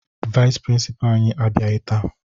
Vayịs prịnsịpaa anyị abịaghị taa